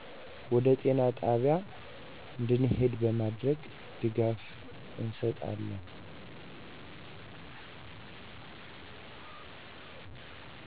ወደ ጤና ጣቢያ እንዲሄድ በማድረግ ድጋፍ እንሠጣለን።